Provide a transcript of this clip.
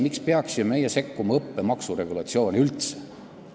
Miks me peaksime üldse sekkuma õppemaksu regulatsiooni?